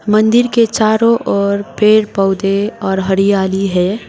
मंदिर के चारों ओर पेड़ पौधे और हरियाली है।